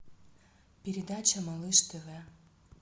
передача малыш тв